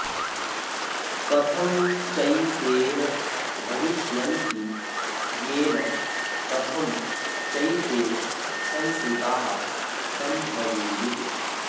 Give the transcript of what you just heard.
कथं चैतेन भविष्यन्ति येन कथं चैते संसृताः संभवेयुः